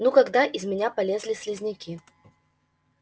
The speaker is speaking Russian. ну когда из меня полезли слизняки